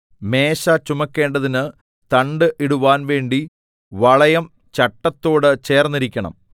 മേശ ചുമക്കേണ്ടതിന് തണ്ട് ഇടുവാൻ വേണ്ടി വളയം ചട്ടത്തോട് ചേർന്നിരിക്കേണം